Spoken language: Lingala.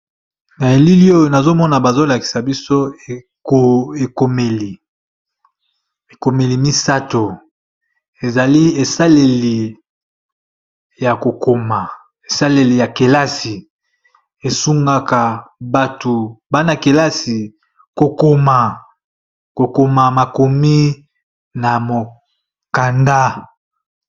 Na elili oyo nazomona bazolakisa biso iekomeli misato ezali esaleli ya kokoma esaleli ya kelasi esungaka batu bana-kelasi kokoma makomi na mokanda.